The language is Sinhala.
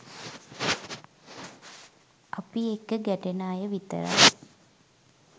අපි එක්ක ගැටෙන අය විතරයි